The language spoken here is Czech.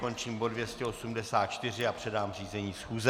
Končím bod 284 a předám řízení schůze.